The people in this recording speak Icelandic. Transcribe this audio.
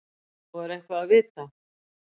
Og er eitthvað að vita?